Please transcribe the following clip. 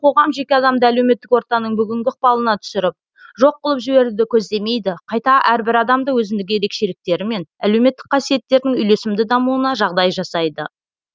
қоғам жеке адамды әлеуметтік ортаның бүгінгі ықпалына түсіріп жоқ қылып жіберуді көздемейді қайта әрбір адамды өзіндік ерекшіліктері мен әлеуметтік қасиеттердің үйлесімді дамуына жағдай жасайды